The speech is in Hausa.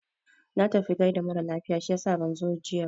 Na tafi gaida mara lafiya shiyasa ban zo jiya ba.